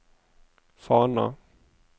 Fana